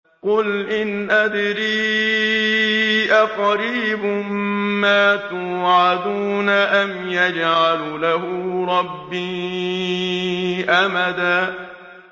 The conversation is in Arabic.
قُلْ إِنْ أَدْرِي أَقَرِيبٌ مَّا تُوعَدُونَ أَمْ يَجْعَلُ لَهُ رَبِّي أَمَدًا